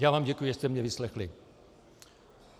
Já vám děkuji, že jste mě vyslechli.